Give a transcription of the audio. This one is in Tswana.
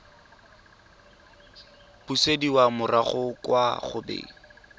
busediwa morago kwa go beng